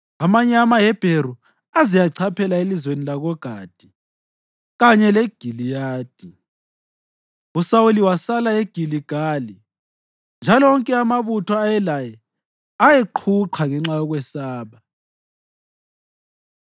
Amanye amaHebheru aze achaphela elizweni lakoGadi kanye leGiliyadi. USawuli wasala eGiligali, njalo wonke amabutho ayelaye ayeqhuqha ngenxa yokwesaba.